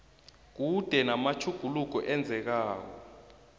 kube namatjhuguluko enzekako